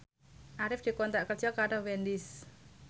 Arif dikontrak kerja karo Wendys